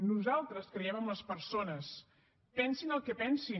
nosaltres creiem en les persones pensin el que pensin